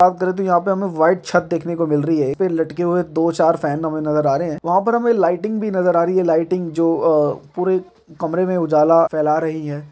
बात करें तो यहां हमें व्हाइट छत देखने को मिल रही है फिर लटके हुए दो चार फैन हमें नजर आ रहे है वहां पर हमें लाइटिंग भी नजर आ रही है लाइटिंग जो अ पुरे कमरे मे उजाला फैला रही है।